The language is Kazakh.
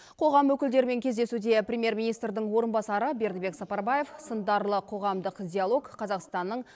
қоғам өкілдерімен кездесуде премьер министрдің орынбасары бердібек сапарбаев сындарлы қоғамдық диалог қазақстанның